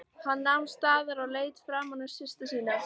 Hann nam staðar og leit framan í systur sína.